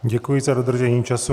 Děkuji za dodržení času.